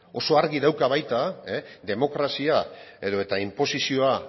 oso argi dauka baita demokrazia edota inposizioa